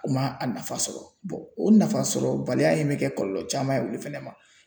U ma a nafa sɔrɔ o nafa sɔrɔ baliya in bɛ kɛ kɔlɔlɔ caman ye olu fɛnɛ ma .